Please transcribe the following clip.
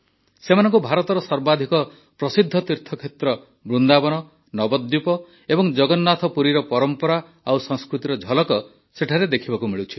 ସେମାନଙ୍କୁ ଭାରତର ସର୍ବାଧିକ ପ୍ରସିଦ୍ଧ ତୀର୍ଥକ୍ଷେତ୍ର ବୃନ୍ଦାବନ ନବଦ୍ୱୀପ ଏବଂ ଜଗନ୍ନାଥପୁରୀର ପରମ୍ପରା ଓ ସଂସ୍କୃତିର ଝଲକ ସେଠାରେ ଦେଖିବାକୁ ମିଳୁଛି